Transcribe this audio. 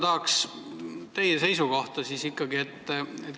Tahaks siiski teada teie seisukohta.